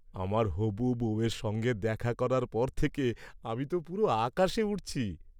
আমার হবু বউয়ের সঙ্গে দেখা করার পর থেকে আমি তো পুরো আকাশে উড়ছি।